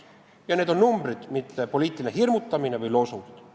Ja need on numbrid, mitte poliitiline hirmutamine või loosungid.